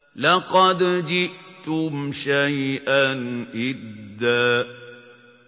لَّقَدْ جِئْتُمْ شَيْئًا إِدًّا